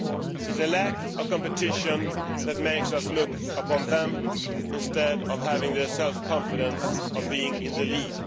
It is a lack of competition that makes us look upon them, instead of us, as having the self confidence of being in the lead.